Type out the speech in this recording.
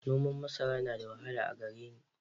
Noman masara yana da wahala a gare ni.